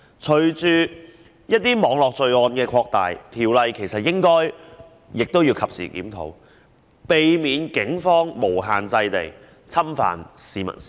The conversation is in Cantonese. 隨着一些網絡罪案的擴大，條例應該及時檢討，防止警方無限制地侵犯市民私隱。